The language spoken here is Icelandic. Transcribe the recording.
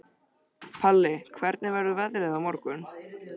Palli, hvernig verður veðrið á morgun?